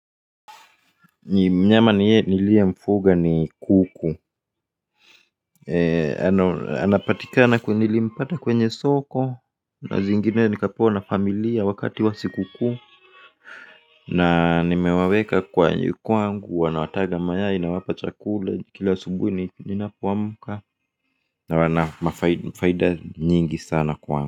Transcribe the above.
Mnyama niyemfuga ni kuku anapatika na nilimpata kwenye soko. Na zingine nilizapewa na familia yangu wakati wa sikukuu. Na nimewaweka kwangu wanawataga mayai nawapa chakula kila asubuhi ninapoamka. Na wana faida nyingi sana kwa wangu.